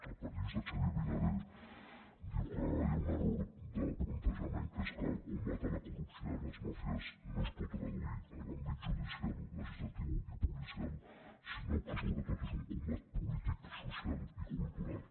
el periodista xavier vinader diu que hi ha un error de plantejament que és que el combat a la corrupció i a les màfies no es pot traduir a l’àmbit judicial legislatiu i policial sinó que sobretot és un combat polític social i cultural